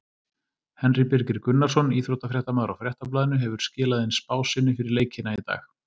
Henry Birgir Gunnarsson, íþróttafréttamaður á Fréttablaðinu hefur skilað inn spá sinni fyrir leikina í dag.